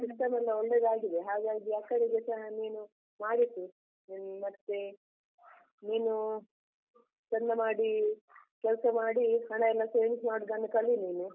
ಅಂದ್ರೆ system ಎಲ್ಲ ಒಳ್ಳೇದಾಗಿದೆ ಹಾಗಾಗಿ ಅಕ್ಕನಿಗೆ ಸ ನೀನು ಮಾಡಿಸು, ಹ್ಮ್ ಮತ್ತೆ ನೀನು ಚಂದ ಮಾಡಿ ಕೆಲ್ಸ ಮಾಡಿ, ಹಣ ಎಲ್ಲ savings ಮಾಡುದನ್ನು ಕಲಿ ನೀನು.